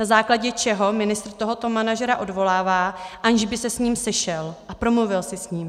Na základě čeho ministr tohoto manažera odvolává, aniž by se s ním sešel a promluvil si s ním.